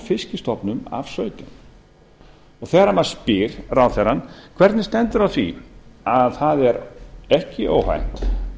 fiskstofnum af sautján þegar maður spyr ráðherrann hvernig stendur á því að það er ekki óhætt